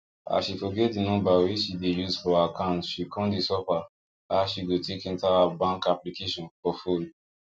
as she forget the number wey she dey use for account she con dey suffer how she go take enter her bank application for phone